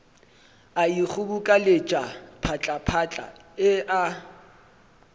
a ikgobokeletša phatlaphatla e a